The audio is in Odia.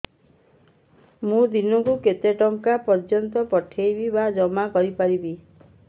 ମୁ ଦିନକୁ କେତେ ଟଙ୍କା ପର୍ଯ୍ୟନ୍ତ ପଠେଇ ବା ଜମା କରି ପାରିବି